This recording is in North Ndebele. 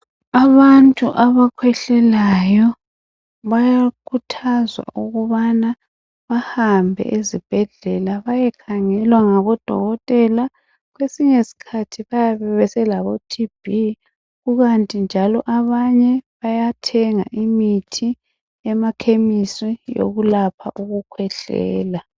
abantu abakhwehlalayo bayakhuthazwa ukubana bahambe ezibhedlela bayekhangelwa ngabodokotela kwesinye sikhathi bayabe sebelabo TB kukanti njalo abanye bayathenga imithi emakhemisi yokulapha ukukhwehlela